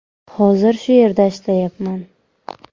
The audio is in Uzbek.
Hozir shu yerda ishlayapman.